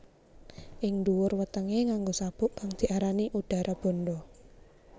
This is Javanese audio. Ing ndhuwur wetengé nganggo sabuk kang diarani Udarabandha